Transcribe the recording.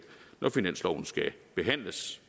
når finansloven skal behandles